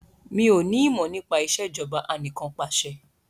Mi ò ní ìmọ̀ nípa Ìṣèjọba Anìkanpàṣẹ